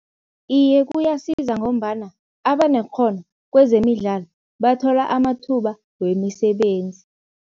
Iye kuyasiza ngombana abanekghono kwezemidlalo bathola amathuba wemisebenzi.